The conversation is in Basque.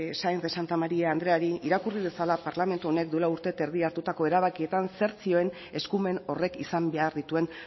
sáenz de santamaría andreari irakurri dezala parlamentu honek duela urte eta erdi hartutako erabakietan zer zioen eskumen horrek izan behar dituen